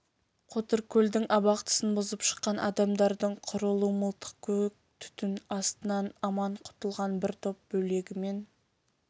қотыркөлдің абақтысын бұзып шыққан адамдардың құрулы мылтық көк түтін астынан аман құтылған бір топ бөлегімен